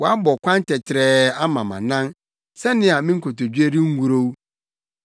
Woabɔ kwan tɛtrɛɛ ama mʼanan sɛnea me nkotodwe rengurow.